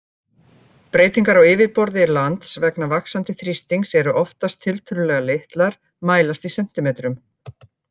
Breytingar á yfirborði lands vegna vaxandi þrýstings eru oftast tiltölulega litlar, mælast í sentimetrum.